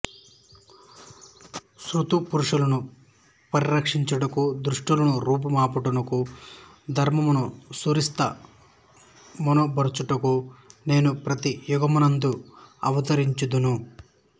సత్పురుషులను పరి రక్షించుటకును దుష్టులను రూపు మాపుటకును ధర్మమును సుస్థిర మొనర్చుటకును నేను ప్రతి యుగమునందును అవతరించుచుందును